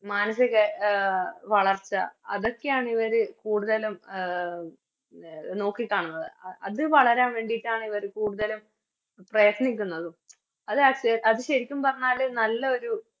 മാനസിക വളർച്ച അതൊക്കെയാണിവര് കൂടുതലും അഹ് നോക്കിക്കാണുന്നത്ത് അത് വളരാൻ വേണ്ടീട്ടാണ് ഇവര് കൂടുതലും പ്രയത്നിക്കുന്നതും അതക് അത് ശെരിക്കും പറഞ്ഞാല് നല്ലൊരു